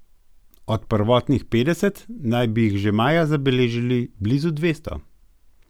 Od prvotnih petdeset naj bi jih že maja zabeležili že blizu dvesto.